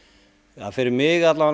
að fyrir mig